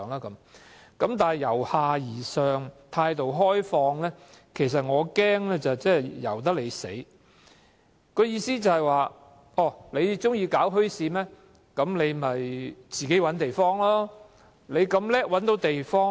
但是，我擔心由下而上、態度開放的政策，即代表"由得你死"，意思是市民如欲設立墟市，可自行尋找地方。